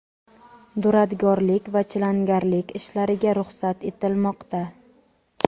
duradgorlik va chilangarlik ishlariga ruxsat etilmoqda.